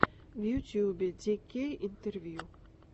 в ютубе ди кей интервью